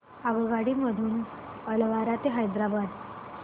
आगगाडी मधून अलवार ते हैदराबाद